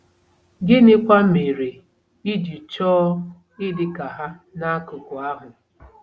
Gịnịkwa mere i ji chọọ ịdị ka ha n'akụkụ ahụ?